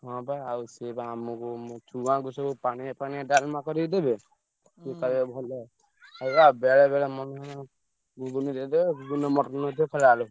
ହଁ ବା ଆଉ ସିଏ ବା ଆମୁକୁ ଛୁଆଙ୍କୁ ସବୁ ପାଣିଆ ପାଣିଆ ଡାଲମା କରିକି ଦେବେ ସିଏ କଖାଇବେ ଭଲ। ସେୟା ବେଳେବେଳେ ମନ ହେଲେ ଘୁଗୁନି ଦେଇଦେବେ ଘୁଗୁନିରେ ମଟର ନଥିବ ଖାଲି ଆଳୁ।